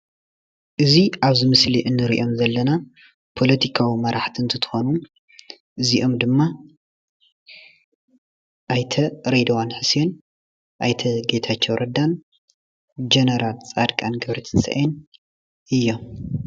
እዚ ኣብዚ ምስሊ እንሪኦም ዘለና ፖለቲካዊ መራሕቲ እንትትኮኑ እዚኦም ድማ ኣይተ ሬድዋን ሑሴን፣ ኣይተ ጌታቸው ረዳን ጀነራል ፃድቃን ገብረትንሳኤን እዮም።